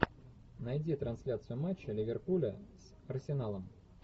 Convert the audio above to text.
найди трансляцию матча ливерпуля с арсеналом